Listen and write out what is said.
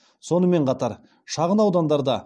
сонымен қатар шағын аудандарда